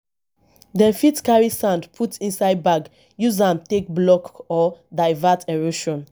dem fit carry sand put inside bag use am take block or divert erosion